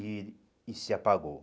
E e se apagou.